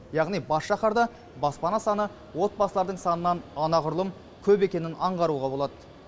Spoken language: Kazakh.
яғни бас шаһарда баспана саны отбасылардың санынан анағұрлым көп екенін аңғаруға болады